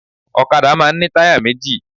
Òkadá máa n ní táyà méjì